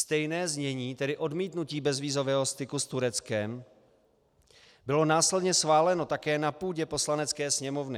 Stejné znění, tedy odmítnutí bezvízového styku s Tureckem, bylo následně schváleno také na půdě Poslanecké sněmovny.